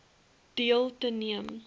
deel te neem